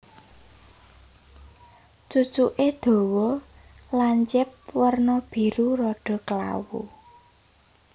Cucuké dawa lancip werna biru rada klawu